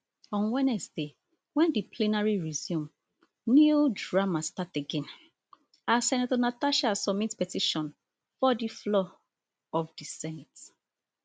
on wednesday wen di plenary resume new drama start again as senator natasha submit petition for di floor of di senate